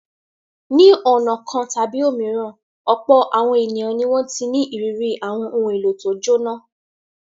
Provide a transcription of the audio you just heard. Ní ọ̀nà kan tàbí òmíràn, ọ̀pọ̀ àwọn ènìyàn ni wọ́n ti ní ìrírí àwọn ohun-èlò tó jóná.